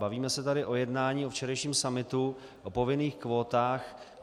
Bavíme se tady o jednání, o včerejším summitu, o povinných kvótách.